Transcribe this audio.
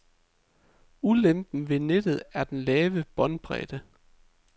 Ulempen ved nettet er den lave båndbredde.